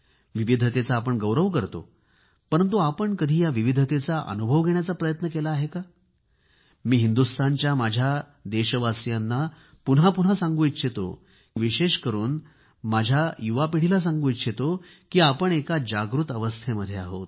विविधतेचा आपण गौरव करतो परंतु आपण कधी या विविधतेचा अनुभव घेण्याचा प्रयत्न केला आहे का मी हिंदुस्तानच्या माझ्या या देशवासियांना पुन्हा पुन्हा सांगू इच्छितो की विशेष करून माझ्या या युवापिढीला सांगू इच्छितो की आपण एका जागृत अवस्थेमध्ये आहोत